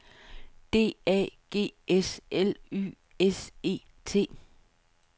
D A G S L Y S E T